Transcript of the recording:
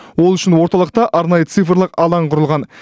ол үшін орталықта арнайы цифрлық алаң құрылған